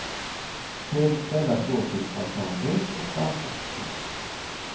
Trevligt ställe att gå till för att ta en drink och dansa. punkt